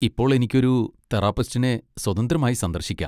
ഇപ്പോൾ എനിക്ക് ഒരു തെറാപ്പിസ്റ്റിനെ സ്വതന്ത്രമായി സന്ദർശിക്കാം.